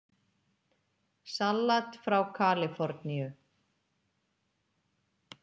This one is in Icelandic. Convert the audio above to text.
Salat frá Kaliforníu